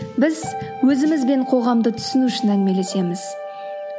біз өзіміз бен қоғамды түсіну үшін әңгімелесеміз